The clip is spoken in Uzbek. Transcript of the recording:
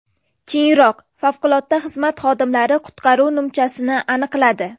Keyinroq favqulodda xizmat xodimlari qutqaruv nimchasini aniqladi.